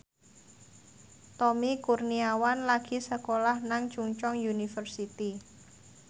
Tommy Kurniawan lagi sekolah nang Chungceong University